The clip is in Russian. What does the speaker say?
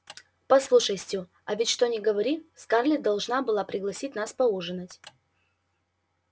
послушай стю а ведь что ни говори скарлетт должна была бы пригласить нас поужинать